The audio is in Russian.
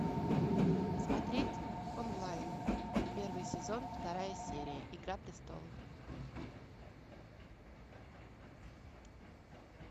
смотреть онлайн первый сезон вторая серия игра престолов